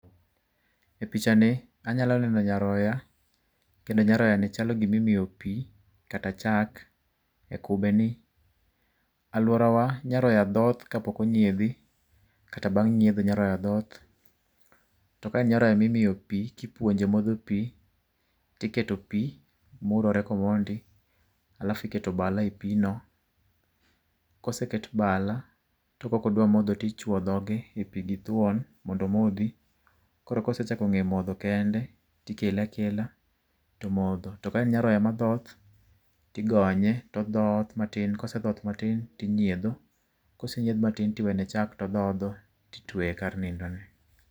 E picha ni anyalo neno nyaroya kendo nyaroyani chalo gima imiyo pi kata chak e kubeni. Aluorawa nyaroya dhoth kapok onyiedhi, kata bang' nyiedho nyaroya dhoth. To ka en nyaroya mimiyo pi, ka ipuonje modho pi to iketo pi murre komondi alafu iketo bala e pigno, koseket bala , ka ok odua modho to ichuo dhoge e pigno githuon mondo omodhi. Koro ka osee chako ng'eyo modho kende to ikele akela to omodho. To ka en nyaroya madhoth to igonye to odhoth matin, kosedhoth matin to inyiedho kosenyiedh matin to iwene chak to odhodho, to itweye kar nindo ne.